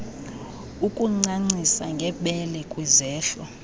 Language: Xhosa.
ukuncancisa ngebele kwizehlo